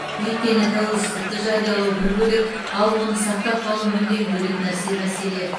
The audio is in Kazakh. өйткені тәуелсіздікті жариялау бір бөлек ал оны сақтап қалу мүлдем бөлек нәрсе мәселе